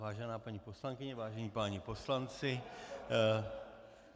Vážená paní poslankyně, vážení páni poslanci.